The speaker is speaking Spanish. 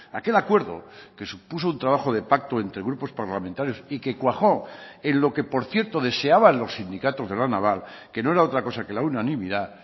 aquel acuerdo que supuso un trabajo de pacto entre grupos parlamentarios y que cuajó en lo que por cierto deseaban los sindicatos de la naval que no era otra cosa que la unanimidad